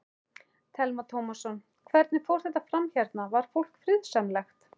Telma Tómasson: Hvernig fór þetta fram hérna, var fólk friðsamlegt?